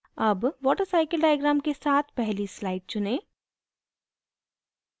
अब watercycle diagram के साथ पहली slide चुनें